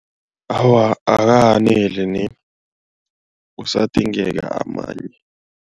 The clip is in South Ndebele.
Awa, akakaneli kusadingeka amanye.